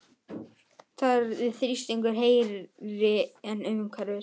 Þar er þrýstingur hærri en umhverfis.